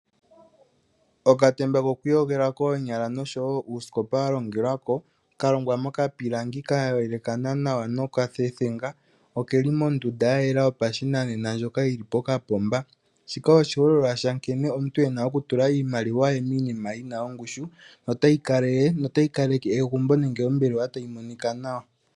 Okatemba koku iyogela koonyala nuusikopa walongelwako kalongwa moka pilangi kayelekana nawa nokatethenga okeli mondunda ya yela yopashinanena ndyoka yili pokapomba shika oshiholelwa shankeneomuntu ena okutula iimaliwa ye miinima yina ongushu notayi kaleke ombelewa nenge egumbo tayi monika nawa.